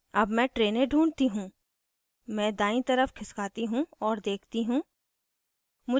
अब मैं train ढूँढ़ती हूँ मैं दायीं तरफ खिसकाती हूँ और देखती हूँ